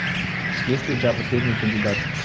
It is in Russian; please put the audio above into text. есть ли у тебя последний кандидат